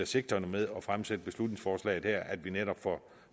sigtet med at fremsætte beslutningsforslaget her nemlig at vi netop får